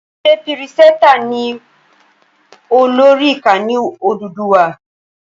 Ṣé pírìsẹtà ni ó lórí Ìkànnì Odùduwà?